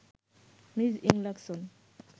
Ms ইংলাকসহ